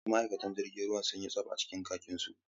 Wasu ma’aikatan jirgin sun yi tsab a cikin kakinsu.